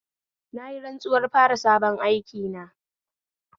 Nayi rantsuwar fara sabon aikina